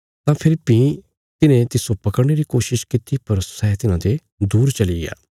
तां फेरी भीं तिन्हे तिस्सो पकड़ने री कोशिश कित्ती पर सै तिन्हांते दूर चलिग्या